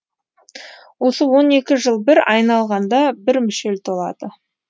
осы он екі жыл бір айналғанда бір мүшел толады